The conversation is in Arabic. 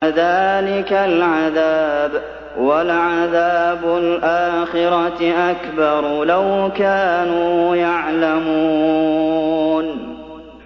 كَذَٰلِكَ الْعَذَابُ ۖ وَلَعَذَابُ الْآخِرَةِ أَكْبَرُ ۚ لَوْ كَانُوا يَعْلَمُونَ